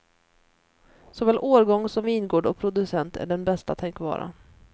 Såväl årgång som vingård och producent är den bästa tänkbara.